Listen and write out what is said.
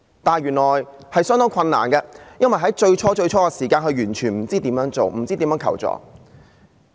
但是，原來對她來說是相當困難的，因為她最初完全不知道如何處理和求助。